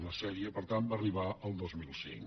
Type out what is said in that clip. la sèrie per tant va arribar al dos mil cinc